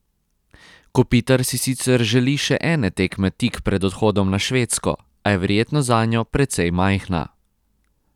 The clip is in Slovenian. Kopitar si sicer želi še ene tekme tik pred odhodom na Švedsko, a je verjetnost zanjo precej majhna.